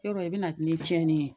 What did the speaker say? Yarɔ e bɛna ni cɛnni ye.